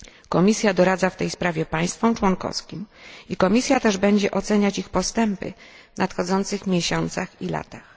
Komisja doradza w tej sprawie państwom członkowskim i Komisja też będzie oceniać ich postępy w nadchodzących miesiącach i latach.